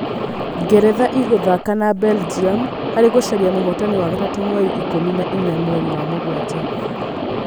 Ngeretha ĩgũthaka na Belgium harĩ gũcaria mũhotani wa gatatũ mweri ikũmi na inya mweri wa mũgwanja